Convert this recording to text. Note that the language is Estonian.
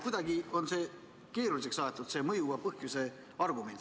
Kuidagi on see keeruliseks aetud, see mõjuva põhjuse argument.